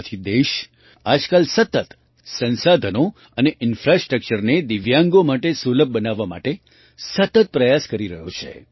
આથી દેશ આજકાલ સતત સંસાધનો અને ઇન્ફ્રાસ્ટ્રક્ચરને દિવ્યાંગો માટે સુલભ બનાવવા માટે સતત પ્રયાસ કરી રહ્યો છે